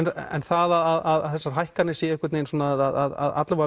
en það að þessar hækkanir séu einhvern vegin að